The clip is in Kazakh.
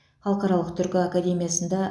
халықаралық түркі академиясында